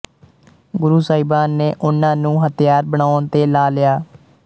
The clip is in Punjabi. ਗੁਰੂ ਸਹਿਬਾਨ ਨੇ ਉਨ੍ਹਾਂ ਨੂੰ ਹਥਿਆਰ ਬਨਾਉਣ ਤੇ ਲਾ ਲਿਆ